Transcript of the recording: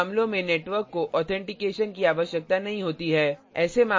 कुछ मामलों में network को authentication की आवश्यकता नहीं होती है